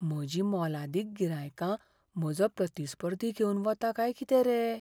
म्हजीं मोलादीक गिरायकां म्हजो प्रतिस्पर्धी घेवन वता काय कितें रे!